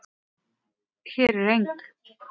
Hér er eng